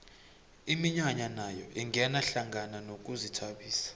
iminyanya nayo ingena hlangana nokuzithabisa